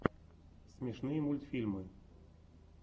смешные мультфильмы